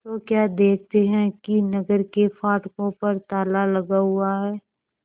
तो क्या देखते हैं कि नगर के फाटकों पर ताला लगा हुआ है